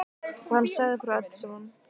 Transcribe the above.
Og hann sagði frá öllu saman.